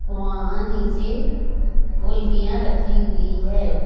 वहाॅं निचे गुल्फियां रखी हुई है।